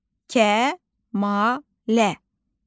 Kəmalə.